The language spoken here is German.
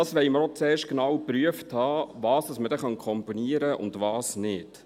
– Wir wollen zuerst auch genau geprüft haben, was man dann kombinieren kann und was nicht.